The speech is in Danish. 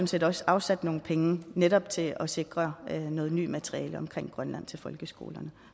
set også afsat nogle penge netop til at sikre noget nyt materiale omkring grønland til folkeskolerne